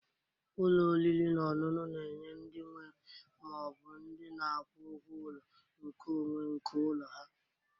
Ụlọ oriri na ọṅụṅu na-enye ndị nwe ma ọ bụ ndị na-akwụ ụgwọ ụlọ nkeonwe nke ụlọ ha.